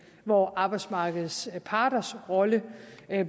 hvor arbejdsmarkedets parters rolle